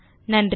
நன்றி